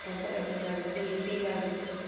comfortable இல்லாத மாதிரி feel ஆகுது.